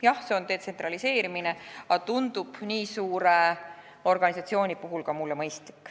Jah, see on detsentraliseerimine, aga see tundub nii suure organisatsiooni puhul mullegi mõistlik.